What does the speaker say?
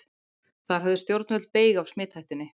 Þar höfðu stjórnvöld beyg af smithættunni.